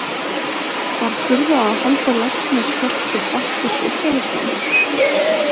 Var furða að Halldór Laxness hélt sér fast við sósíalismann?